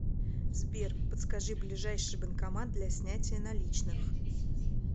сбер подскажи ближайший банкомат для снятия наличных